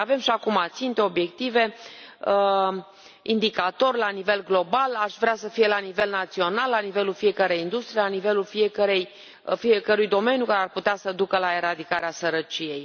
Avem și acum ținte, obiective, indicatori la nivel global aș vrea să fie la nivel național, la nivelul fiecărei industrii, la nivelul fiecărui domeniu care ar putea să ducă la eradicarea sărăciei.